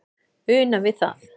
una við það